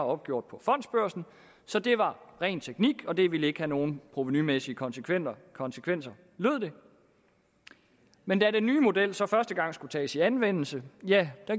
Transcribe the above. opgjort på fondsbørsen så det var ren teknik og det ville ikke have nogen provenumæssige konsekvenser konsekvenser lød det men da den nye model så første gang skulle tages i anvendelse